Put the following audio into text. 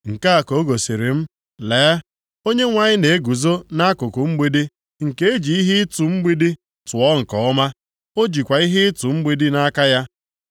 Nke a ka o gosiri m, lee, Onyenwe anyị na-eguzo nʼakụkụ mgbidi nke e ji ihe ịtụ mgbidi tụọ nke ọma, o jikwa ihe ịtụ mgbidi nʼaka ya.